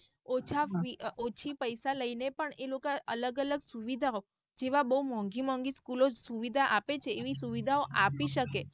ઓછા ઓછી પૈસા લઈને પણ એ લોક અલગ અલગ સુવિધાઓ જેવા બઉ મોહનગી મોહનગી school ઓ સુવિધા આપે છે એવી સુવિધા આપી શકે.